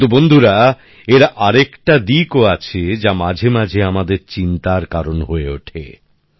কিন্তু বন্ধুরা এর আরেকটা দিকও আছে যা মাঝে মাঝে আমাদের চিন্তার কারণ হয়ে ওঠে